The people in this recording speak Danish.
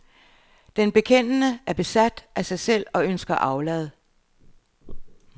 Den bekendende er besat af sig selv og ønsker aflad.